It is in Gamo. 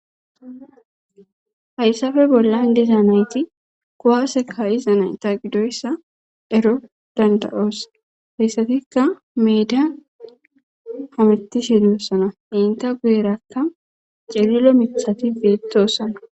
hayssafe bollan diza nayti kowase ka7izanay ta qidoyssa ero danda7oos hayssatikka meeda hamitishedoossana inta guerakka calilo mithati peetossana